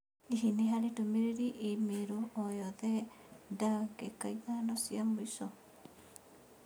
Hihi nĩ harĩ ndũmĩrĩri i-mīrū o yothe ndagĩka ithano cia mũico?